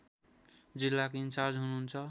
जिल्ला इन्चार्ज हुनुहुन्छ